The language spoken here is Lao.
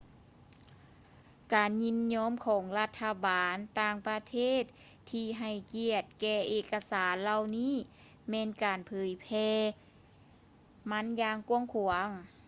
ການຍິນຍອມຂອງລັດຖະບານຕ່າງປະເທດທີ່ໃຫ້ກຽດແກ່ເອກະສານເຫຼົ່ານີ້ແມ່ນການເຜີຍແຜ່ມັນຢ່າງກວ້າງຂວາງ